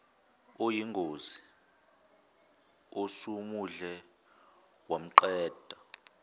oyingozi osumudle wamqeda